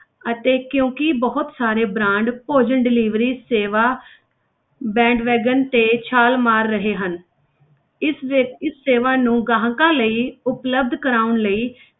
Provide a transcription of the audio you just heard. ਅਤੇ ਕਿਉਂਕਿ ਬਹੁਤ ਸਾਰੇ brand ਭੋਜਨ delivery ਸੇਵਾ bandwagon ਤੇ ਛਾਲ ਮਾਰ ਰਹੇ ਹਨ ਇਸ ਵਿੱਚ ਇਸ ਸੇਵਾ ਨੂੰ ਗਾਹਕਾਂ ਲਈ ਉਪਲਬਧ ਕਰਵਾਉਣ ਲਈ,